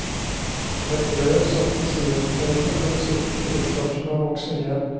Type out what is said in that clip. Et rør settes i luftveiene for å sikre tilførsel av oksygen.